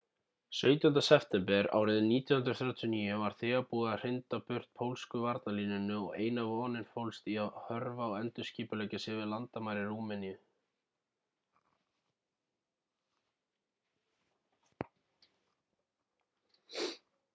17. september 1939 var þegar búið að hrinda burt pólsku varnarlínunni og eina vonin fólst í að hörfa og endurskipuleggja sig við landamæri rúmeníu